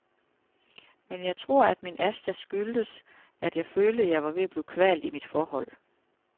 Men jeg tror, at min astma skyldtes, at jeg følte, at jeg var ved at blive kvalt i mit forhold.